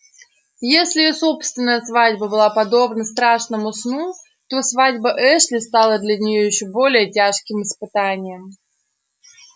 если её собственная свадьба была подобна страшному сну то свадьба эшли стала для неё ещё более тяжким испытанием